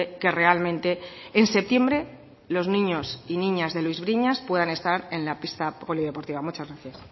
que realmente en septiembre los niños y niñas de luis briñas puedan estar en la pista polideportiva muchas gracias